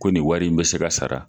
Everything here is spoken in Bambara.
Ko nin wari in bɛ se ka sara